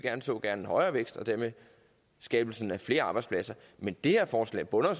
så gerne en højere vækst og dermed skabelsen af flere arbejdspladser men det her forslag bunder jo